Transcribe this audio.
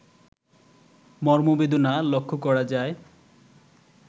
মর্মবেদনা লক্ষ্য করা যায়